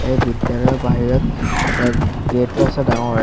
এই বিদ্যালয়ৰ বাহিৰত এটা গেট টো আছে ডাঙৰ।